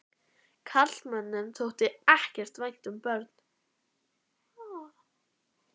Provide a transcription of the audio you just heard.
Karlmönnum þótti ekkert vænt um börn.